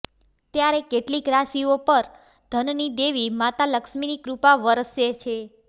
ત્યારે કેટલીક રાશિઓ પર ધનની દેવી માતા લક્ષ્મીની કૃપા વરસે છે